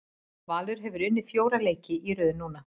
Valur hefur unnið fjóra leiki í röð núna.